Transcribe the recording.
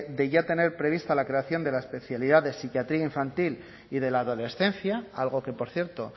de ya tener prevista la creación de la especialidad de psiquiatría infantil y de la adolescencia algo que por cierto